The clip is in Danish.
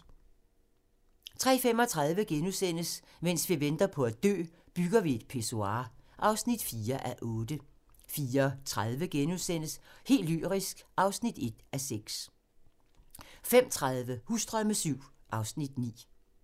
03:35: Mens vi venter på at dø - Bygger vi et pissoir (4:8)* 04:30: Helt lyrisk (1:6)* 05:30: Husdrømme VII (Afs. 9)